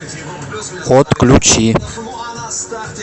отключи